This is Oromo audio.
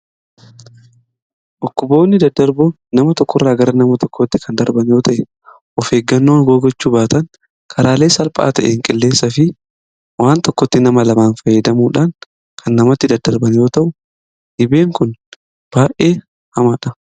Dhukkuboonni daddarboon nama tokko irraa gara nama tokkootti kan darban yoo ta'e, of eeggannoo yoo gochuu baatan karaalee salphaa ta'een qilleensaa fi waan tokkotti nama lamaan fayyadamuudhaan kan namatti daddarban yoo ta'u, dhibeen kun baay'ee hamaadha.